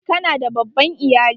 Ka na da babban iyali?